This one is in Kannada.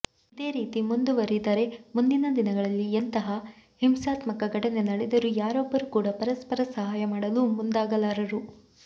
ಇದೇ ರೀತಿ ಮುಂದುವರಿದರೆ ಮುಂದಿನ ದಿನಗಳಲ್ಲಿ ಎಂತಹ ಹಿಂಸಾತ್ಮಕ ಘಟನೆ ನಡೆದರೂ ಯಾರೊಬ್ಬರೂ ಕೂಡ ಪರಸ್ಪರ ಸಹಾಯ ಮಾಡಲು ಮುಂದಾಗಲಾರರು